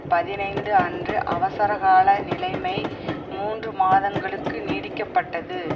பதினைந்து அன்று அவசரகால நிலைமை மூன்று மாதங்களுக்கு நீடிக்கப்பட்டது